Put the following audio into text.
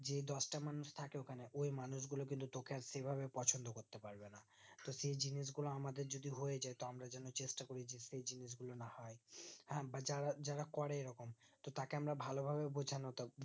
যে দশটা মানুষ থাকে ওখানে ওই মানুষ গুলো কিন্তু তোকে আর সেভাবে পছন্দ করতে পারবে না তো সেই জিনিস গুলো আমাদের যদি হয়ে যাই তো আমরা যেন চেষ্টা করি যাতে এই জিনিস গুলো না হয় আমরা যারা যারা করে এরকম তাকে আমরা ভালো ভাবে বোঝানো